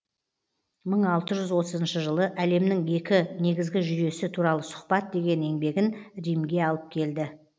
мың алты жүз отызыншы жылы әлемнің екі негізгі жүйесі туралы сұхбат деген еңбегін римге алып келді